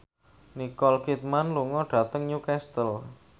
Nicole Kidman lunga dhateng Newcastle